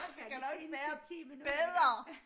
Det kan da ikke være bedre